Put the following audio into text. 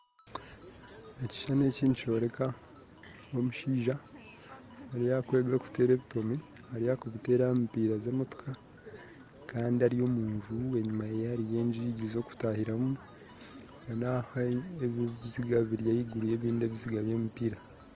Ekishushani eki nikyoreka omushaija ariyo arikwega kuteera ebitomi ariyo akubitera aha mupiira z'emotoka kandi ari omu nju enyuma ye hariyo enyigi zokutahiramu kandi aho haihi ebyo ebiziga biri haiguru yabindi ebiziga bya emipiira